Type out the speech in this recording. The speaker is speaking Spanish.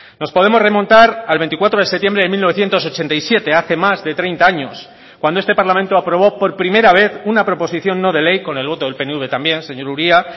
nos podemos remontar al veinticuatro de septiembre de mil novecientos ochenta y siete hace más de treinta años cuando este parlamento aprobó por primera vez una proposición no de ley con el voto del pnv también señor uria